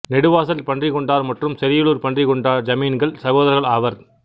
நெடுவாசல் பன்றிக்கொண்டார் மற்றும் செரியலூர் பன்றிக்கொண்டார் ஜமீன்கள் சகோதரர்கள் ஆவர்